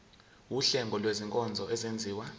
wuhlengo lwezinkonzo ezenziwa